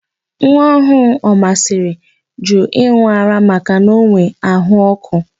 Nwaọhụụ Omasịrị jụrụ ịn̄ụ ara makana o nwere àhụ́ ọ́kụ́.